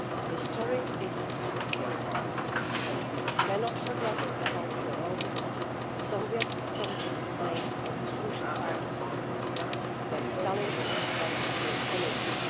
history is complicated and we cannot forget about the role that the Soviet soldiers played in the crucial part of the war when Stalin and Hitler became enemies.